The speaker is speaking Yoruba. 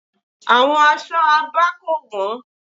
Àwọn aṣọ Abá kò wọ́n.